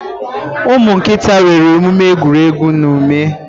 Umu nkịta nwere omume egwuregwu na ume